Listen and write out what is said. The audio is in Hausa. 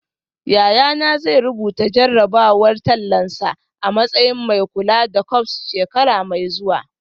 Yayana zai rubuta jarrabawar tallansa a matsayin mai kula da corps shekara mai zuwa